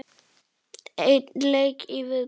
Einn leik í viðbót.